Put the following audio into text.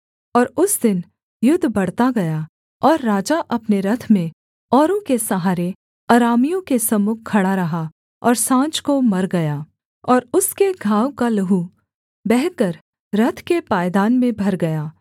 और उस दिन युद्ध बढ़ता गया और राजा अपने रथ में औरों के सहारे अरामियों के सम्मुख खड़ा रहा और साँझ को मर गया और उसके घाव का लहू बहकर रथ के पायदान में भर गया